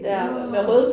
Nåh